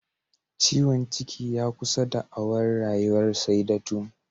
Ciwon ciki ya kusa da'awar Rayuwar Saidatu